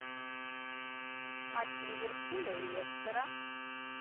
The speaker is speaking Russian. матч ливерпуля и лестера